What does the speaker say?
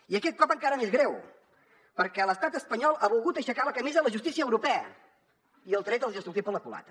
i aquest cop encara més greu perquè l’estat espanyol ha volgut aixecar la camisa a la justícia europea i el tret els hi ha sortit per la culata